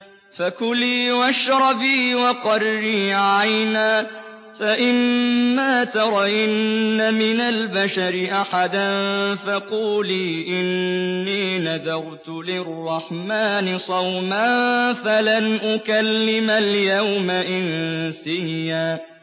فَكُلِي وَاشْرَبِي وَقَرِّي عَيْنًا ۖ فَإِمَّا تَرَيِنَّ مِنَ الْبَشَرِ أَحَدًا فَقُولِي إِنِّي نَذَرْتُ لِلرَّحْمَٰنِ صَوْمًا فَلَنْ أُكَلِّمَ الْيَوْمَ إِنسِيًّا